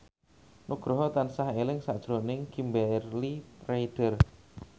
Nugroho tansah eling sakjroning Kimberly Ryder